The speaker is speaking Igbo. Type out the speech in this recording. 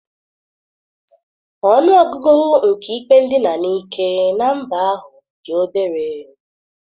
Ọnụ ọgụgụ nke ikpe ndina n'ike na mba ahụ dị obere.